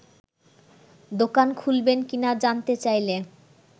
দোকান খুলবেন কিনা জানতে চাইলে